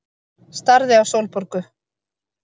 Starði á Sólborgu.